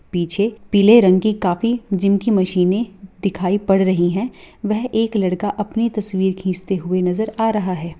पीछे पीले रंग की काफी जीम की मशीनें दिखाई पर रही है वह एक लड़का अपनी तसवीर खींचते हुए नजर आ रहा है।